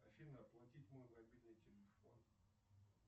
афина оплатить мой мобильный телефон